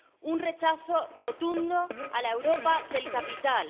un rechazo rotundo a la Europa del capital